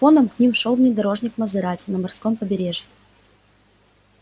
фоном к ним шёл внедорожник мазерати на морском побережье